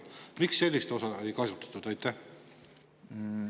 Miks sellist ei kasutatud?